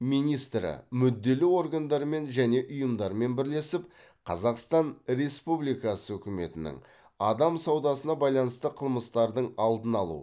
министрі мүдделі органдармен және ұйымдармен бірлесіп қазақстан республикасы үкіметінің адам саудасына байланысты қылмыстардың алдын алу